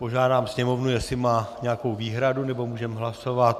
Požádám Sněmovnu, jestli má nějakou výhradu, nebo můžeme hlasovat.